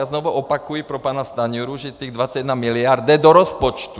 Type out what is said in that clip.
A znovu opakuji pro pana Stanjuru, že těch 21 miliard jde do rozpočtu!